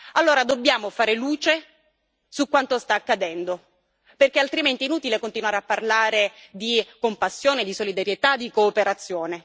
Allora dobbiamo fare luce su quanto sta accadendo, perché altrimenti è inutile continuare a parlare di compassione, di solidarietà, di cooperazione.